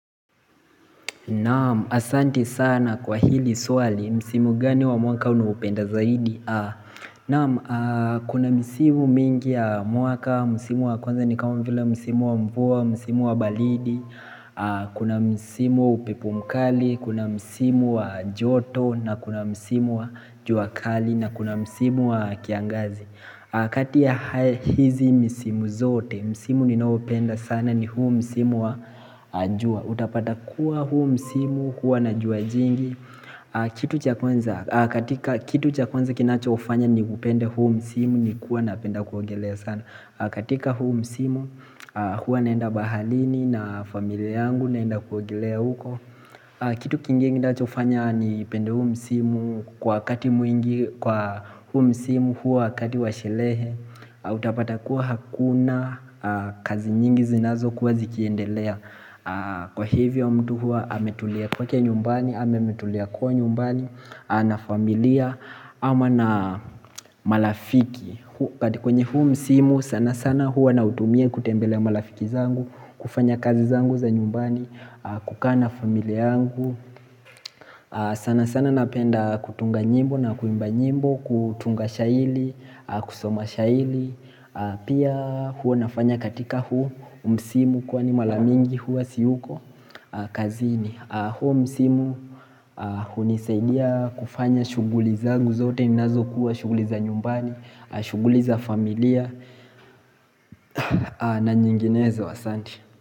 Naam, asanti sana kwa hili swali, msimu gani wa mwaka unaopenda zaidi? Naam, kuna misimu mingi ya mwaka, msimu wa kwanza ni kama vile msimu wa mvua, msimu wa baridi, kuna msimu wa upepo mkali, kuna msimu wa joto, na kuna msimu wa juakali, na kuna msimu wa kiangazi. Kati ya hizi misimu zote, msimu ninaoupenda sana ni huu msimu wa jua. Utapata kuwa huu msimu, hua na jua jingi, katika kitu cha kwanza kinachofanya niupende huu msimu ni kuwa napenda kuogelea sana. Katika huu msimu, hua naenda baharini na familia yangu naenda kuogelea huko. Kitu kingine kinachofanya nipende huu msimu kwa wakati mwingi huu msimu huwa wakati wa shirehe Utapata kuwa hakuna kazi nyingi zinazokuwa zikiendelea Kwa hivyo mtu hua ametulia kwake nyumbani ama ametulia kwao nyumbani na familia ama na marafiki kwenye huu msimu sana sana huwa nautumie kutembelea marafiki zangu kufanya kazi zangu za nyumbani kukaa na familia yangu sana sana napenda kutunga nyimbo na kuimba nyimbo kutunga shairi, kusoma shairi Pia huwa nafanya katika huo msimu Kwani mara mingi huwa siyuko kazini huo msimu hunisaidia kufanya shughuli zangu zote nazokuwa shuguli za nyumbani shughuli za familia na nyinginezo asanti.